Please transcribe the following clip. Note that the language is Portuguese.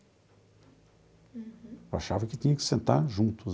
Eu achava que tinha que sentar juntos.